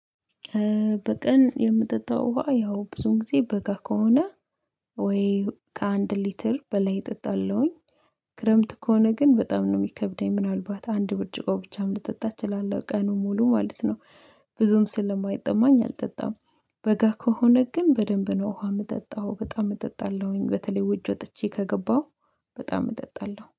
በቀን የምጠጣው ውሃ ያው ብዙን ጊዜ በጋ ከሆነ ወይ ከአንድ ሊትር በላይ እጠጣለሁኝ። ክረምት ከሆነ ግን በጣም ነው የሚከብደኝ ምናልባት አንድ ብርጭቆ ብቻም ልጠጣ እችላለሁ ቀኑን ሙሉ ማለት ነው። ብዙም ስለማይጠማኝ አልጠጣም። በጋ ከሆነ ግን በደንብ ነው ውሃ የምጠጣው በጣም እጠጣለሁኝ በተለይ ውጭ ወጥቼ ከገባሁ በጣም እጠጣለሁ